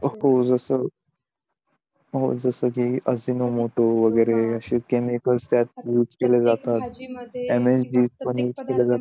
हो असं जस कि अजिनोमोटो वैगेरे काय केमिकॅल मिक्स केले जातात भाजी मध्ये